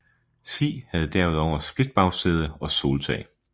Si havde derudover splitbagsæde og soltag